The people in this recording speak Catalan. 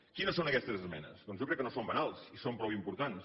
quines són aquestes esmenes doncs jo crec que no són banals i són prou importants